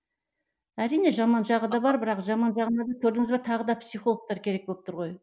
әрине жаман жағы да бар бірақ жаман жағына да көрдіңіз бе тағы да психологтар керек болып тұр ғой